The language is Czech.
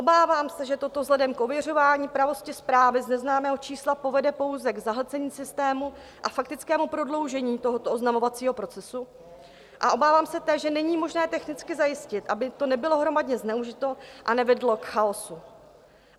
Obávám se, že toto vzhledem k ověřování pravosti zprávy z neznámého čísla povede pouze k zahlcení systému a faktickému prodloužení tohoto oznamovacího procesu, a obávám se též, že není možné technicky zajistit, aby to nebylo hromadně zneužito a nevedlo k chaosu.